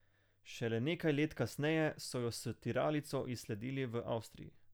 Šele nekaj let kasneje so jo s tiralico izsledili v Avstriji.